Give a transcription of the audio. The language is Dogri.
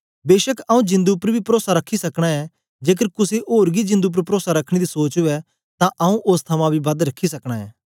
बेछक आऊँ जिंदु उपर बी परोसा रखी सकना ऐ जेकर कुसे ओर गी जिंदु उपर परोसा रखने दी सोच उवै तां आऊँ ओस थमां बी बद रखी सकना ऐं